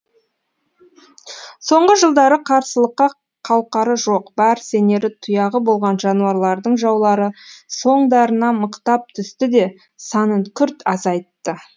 соңғы жылдары қарсылыққа қауқары жоқ бар сенері тұяғы болған жануарлардың жаулары соңдарына мықтап түсті де санын күрт азайтты